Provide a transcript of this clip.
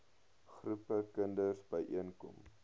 groepe kinders byeenkom